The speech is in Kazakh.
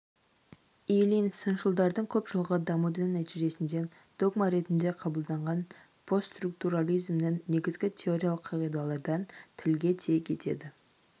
ильин сыншылардың көп жылғы дамудың нәтижесінде догма ретінде қабылданған постструктурализмнің негізгі теориялық қағидалардан тілге тиек етеді